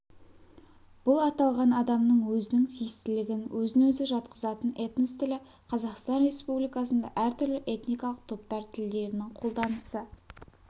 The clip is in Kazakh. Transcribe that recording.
бұл аталған адамның өзінің тиістілігін өзін-өзі жатқызатын этнос тілі қазақстан республикасында әртүрлі этникалық топтар тілдерінің қолданысы